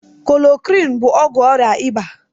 Klorokwinụ bụ ọgwụ ọrịa ịba.